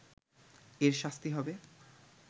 এর শাস্তি হবে